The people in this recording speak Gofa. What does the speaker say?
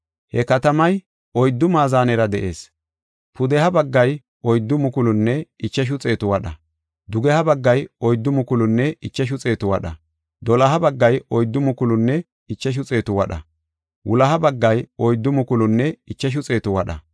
He katamay oyddu maazanera de7ees. Pudeha baggay oyddu mukulunne ichashu xeetu wadha; dugeha baggay oyddu mukulunne ichashu xeetu wadha; doloha baggay oyddu mukulunne ichashu xeetu wadha; wuloha baggay oyddu mukulunne ichashu xeetu wadha.